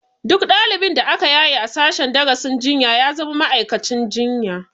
Duk ɗalibin da aka yaye a sashen darasin jinya ya zama ma'aikacin jinya